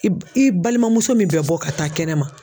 I i balimamuso min bɛ bɔ ka taa kɛnɛ ma.